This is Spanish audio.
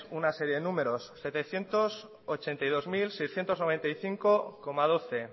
una serie de números setecientos ochenta y dos mil seiscientos noventa y cinco doce